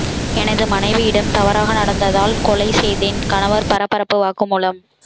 எனது மனைவியிடம் தவறாக நடந்ததால் கொலை செய்தேன் கணவர் பரபரப்பு வாக்குமூலம்